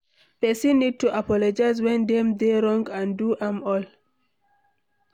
Person need to apologize when dem dey wrong and do am well